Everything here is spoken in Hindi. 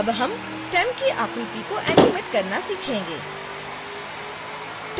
अब हम स्टेम की आकृति को एनीमेट करना सीखेंगे